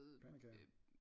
Pandekager